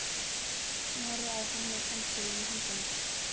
Hún horfði á hann með pensilinn í höndunum.